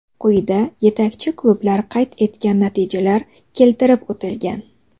Quyida yetakchi klublar qayd etgan natijalar keltirib o‘tilgan.